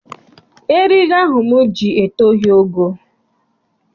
Eriri ahụ m ji etoghi ogo.